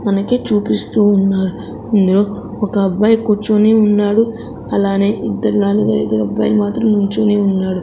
మనకి చూపిస్తూ ఉన్నారు ఇందులో ఒక అబ్బాయి కూర్చుని ఉన్నాడు అలానే ఇద్దరు నలుగురైదుగురు అబ్బాయిలు మాత్రం నించొని ఉన్నాడు.